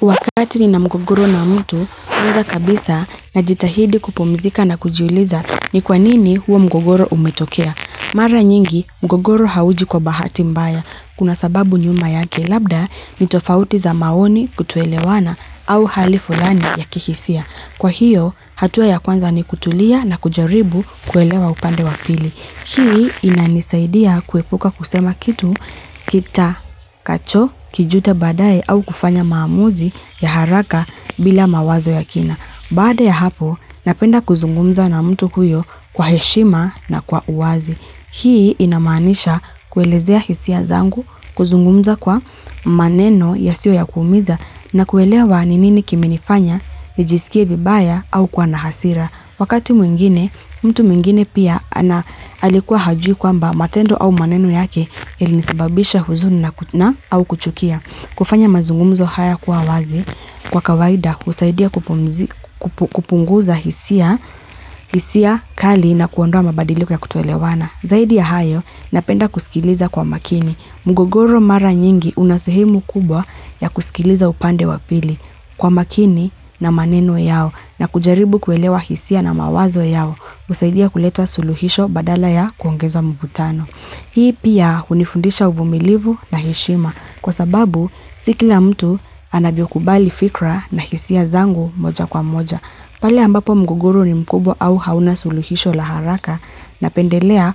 Kwa wakati nina mgogoro na mtu, kwanza kabisa najitahidi kupumzika na kujiuliza ni kwanini huo mgogoro umetokea. Mara nyingi, mgogoro hauji kwa bahati mbaya, kuna sababu nyuma yake, labda ni tofauti za maoni, kutoelewana au hali fulani ya kihisia. Kwa hiyo, hatua ya kwanza ni kutulia na kujaribu kuelewa upande wa pili. Hii inanisaidia kuepuka kusema kitu, kita kacho, kijuta badaye au kufanya maamuzi ya haraka bila mawazo ya kina. Baada ya hapo, napenda kuzungumza na mtu huyo kwa heshima na kwa uwazi. Hii inamanisha, kuelezea hisia zangu, kuzungumza kwa maneno yasiyo ya kuumiza na kuelewa ni nini kimenifanya, nijisikie vibaya au kuwa na hasira. Wakati mwingine, mtu mwingine pia alikuwa hajui kwamba matendo au maneno yake ilinisibabisha huzuni na au kuchukia. Kufanya mazungumzo haya kuwa wazi kwa kawaida husaidia kupunguza hisia, hisia kali na kuondoa mabadiliko ya kutoelewana. Zaidi ya hayo, napenda kusikiliza kwa makini. Mgogoro mara nyingi, unasehemu kubwa ya kusikiliza upande wa pili, kwa makini na maneno yao na kujaribu kuelewa hisia na mawazo yao. Usaidia kuleta suluhisho badala ya kuongeza mvutano. Hii pia, hunifundisha uvumilivu na heshima kwa sababu si kila mtu anavyo kubali fikra na hisia zangu moja kwa moja. Pale ambapo mgogoro ni mkubwa au hauna suluhisho la haraka, napendelea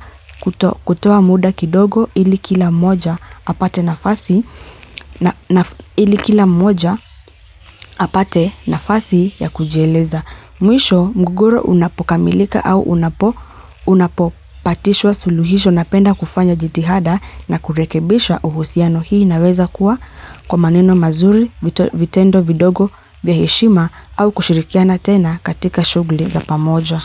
kutoa muda kidogo ili kila mmoja ili kila mmoja apate nafasi ya kujieleza. Mwisho mgogoro unapokamilika au unapopatishwa suluhisho napenda kufanya jitihada na kurekebisha uhusiano hii inaweza kuwa, kwa maneno mazuri, vitendo vidogo vya heshima au kushirikiana tena katika shugli za pamoja.